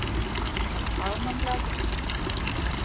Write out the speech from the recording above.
Það var fagmannlega gert